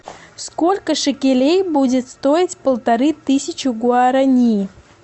сколько шекелей будет стоить полторы тысячи гуарани